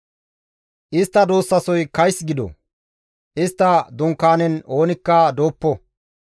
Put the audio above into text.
Istta duussasoy kays gido; istta dunkaanen oonikka dooppo.